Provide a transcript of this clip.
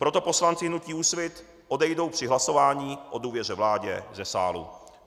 Proto poslanci hnutí Úsvit odejdou při hlasování o důvěře vládě ze sálu.